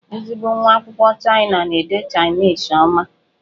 Ezigbo nwa akwụkwọ Chịana na-ede Chainisi ọma.